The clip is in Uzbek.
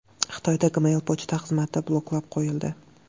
Xitoyda Gmail pochta xizmati bloklab qo‘yildi.